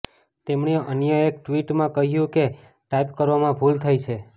તેમણે અન્ય એક ટ્વિટમાં કહ્યું કે ટાઇપ કરવામાં ભૂલ થઈ છે